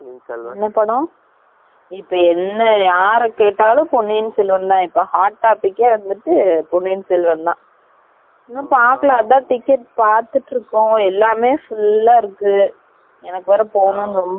இபோ என்ன யார கேட்டாலும் பொன்னியன் செல்வன் தான் hot topic யெ வந்துட்டு வந்து பொன்னியன் செல்வன் தான், இன்னும் பாக்கல அதான் ticket பாத்துட்டு இருக்கோம், எல்லாமெ full அ இருக்கு. எனக்கு வெர பொகனும் நு ரோம்ப ஆர்வம இருக்கு